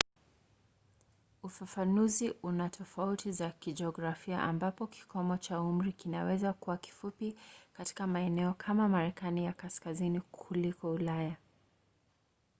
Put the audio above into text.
ufafanuzi una tofauti za kijiografia ambapo kikomo cha umri kinaweza kuwa kifupi katika maeneo kama marekani ya kaskazini kuliko ulaya